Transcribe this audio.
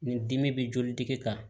Nin dimi bɛ jolidigi kan